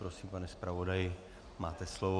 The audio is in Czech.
Prosím, pane zpravodaji, máte slovo.